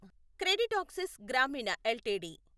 CreditAccess Grameen LTD